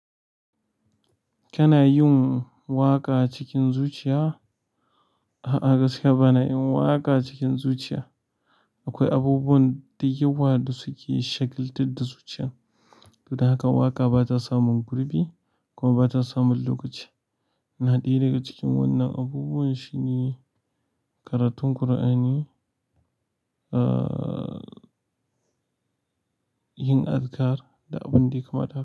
Kana yin waƙa cikin zuciya? A'a, gaskiya ba na yin waƙa cikin zuciya. Akwai abubuwan da yawa da suke shagaltar da zuciyan. To don haka waƙa ba ta samun gurbi kuma ba ta samun lokaci. Na ɗaya daga cikin wannan abubuwan shine karatun Kur'ani, ah, yin azikar da abin da ya kamata.